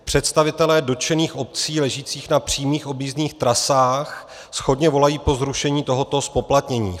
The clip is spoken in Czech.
Představitelé dotčených obcí ležících na přímých objízdných trasách shodně volají po zrušení tohoto zpoplatnění.